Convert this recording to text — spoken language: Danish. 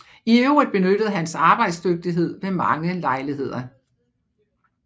I øvrigt benyttedes hans arbejdsdygtighed ved mange lejligheder